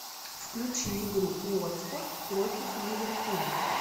включи игру уотфорд против ливерпуля